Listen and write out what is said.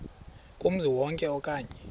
kumzi wonke okanye